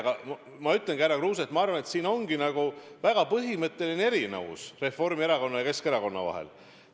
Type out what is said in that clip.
Aga ma ütlengi, härra Kruuse, teile, et minu arvates selles ongi väga põhimõtteline erinevus Reformierakonna ja Keskerakonna vahel.